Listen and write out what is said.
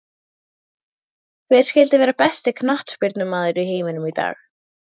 Hver skyldi vera besti knattspyrnumaður í heiminum í dag?